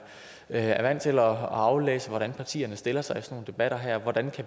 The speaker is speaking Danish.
er vant til at aflæse hvordan partierne stiller sig i sådan nogle debatter her hvordan